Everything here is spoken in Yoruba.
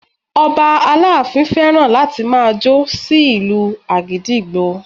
Ọba aláàfin fẹ́ràn láti máa jó sí ìlu àgídìgbo